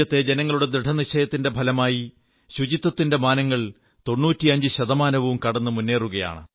രാജ്യത്തെ ജനങ്ങളുടെ ദൃഢനിശ്ചയത്തിന്റെ ഫലമായി ശുചിത്വത്തിന്റെ മാനങ്ങൾ 95 ശതമാനവും കടന്നു മുന്നേറുകയാണ്